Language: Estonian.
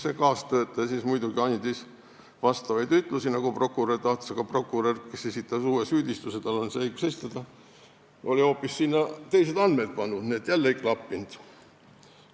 See kaastöötaja andis muidugi selliseid ütlusi, nagu prokurör tahtis, aga prokurör, kes esitas uue süüdistuse – tal on õigus seda esitada – oli hoopis teised andmed kirja pannud, nii et asi jälle ei klappinud.